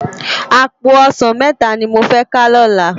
Àpó òsán mètá ni mó fè ká lòlá